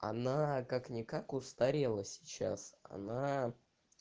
она как-никак устарела сейчас она